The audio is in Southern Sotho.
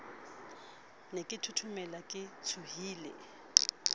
ne ke thothomela ke tshohile